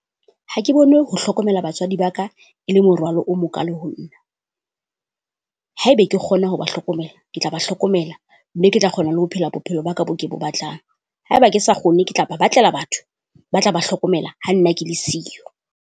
Ha ke bone ho hlokomela batswadi ba ka e le morwalo o mokalo ho nna. Haeba ke kgone ho ba hlokomela, ke tla ba hlokomela, mme ke tla kgona le ho phela bophelo ba ka bo ke bo batlang. Haeba ke sa kgone ke tla ba batlela batho ba tla ba hlokomela ha nna ke le siyo